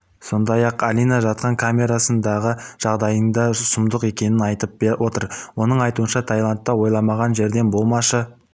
сондай-ақ алина жатқан камерасындағы жағдайдың да сұмдық екенін айтып отыр оның айтуынша тайландта ойламаған жерден болмашы